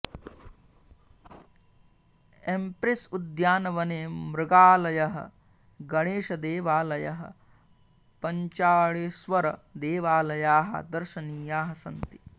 Empress उद्यानवने मृगालयः गणेशदेवालयः पञ्चाळेश्वर देवालयाः दर्शनीयाः सन्ति